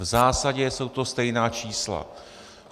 V zásadě jsou to stejná čísla.